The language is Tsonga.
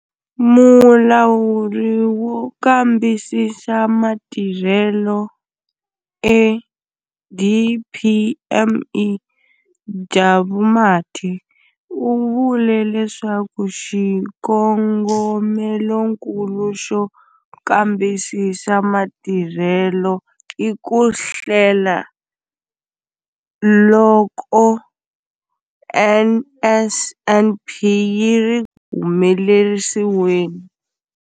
Mulawuri wo Kambisisa Matirhelo eDPME, Jabu Mathe, u vule leswaku xikongomelonkulu xo kambisisa matirhelo i ku hlela loko NSNP yi ri ku humelerisiweni.